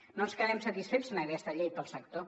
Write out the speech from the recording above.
no quedem satisfets amb aquesta llei per al sector